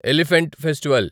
elephant festival